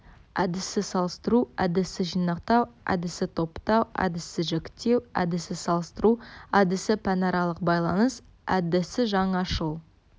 әдісі салыстыру әдісі жинақтау әдісі топтау әдісі жіктеу әдісі салыстыру әдісі пәнаралық байланыс әдісі жаңашыл